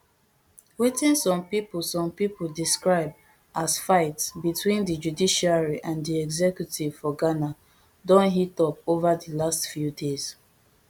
wetin some pipo some pipo describe as fight between di judiciary and di executive for ghana don heat up ova di last few days